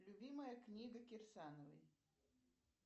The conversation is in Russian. любимая книга кирсановой